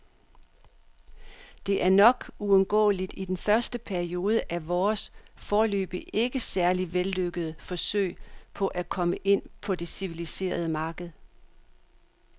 Det er nok uundgåeligt i den første periode af vores, foreløbig ikke særlig vellykkede, forsøg på at komme ind på det civiliserede marked.